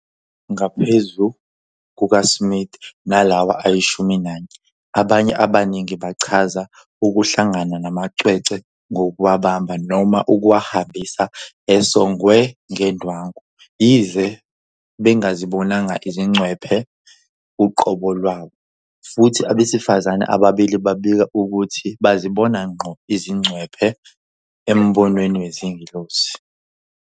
Ngaphezu kukaSmith nalawa ayishumi nanye, abanye abaningi bachaza ukuhlangana namacwecwe ngokuwabamba noma ukuwahambisa esongwe ngendwangu, yize bengazibonanga izingcwephe uqobo lwawo, futhi abesifazane ababili babika ukuthi bazibona ngqo izingcwephe embonweni wezingelosi.